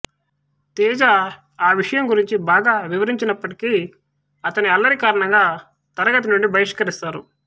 తేజా ఆ విషయం గురించి బాగా వివరించినప్పటికీ అతన్ని అల్లరి కారణంగా తరగతి నుండి బహిష్కరిస్తారు